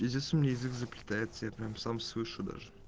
пиздец у меня язык заплетается я прям сам слышу даже